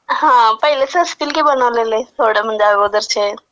हां , पहिल्याचं असतील की बनवलेले. थोडे म्हणजे अगोदरचे.